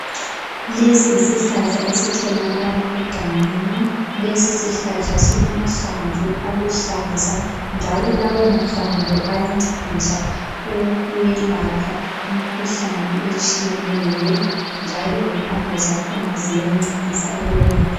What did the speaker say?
Lesi yisihlahla esitholakala egangeni. Lesi sihlahla silamahlamvu aluhlaza njalo lawo mahlamvu ayancedisa ukwelapha imkhuhlane etshiyeneyo njalo lempande zakhona ziyancedisa ukwelapha.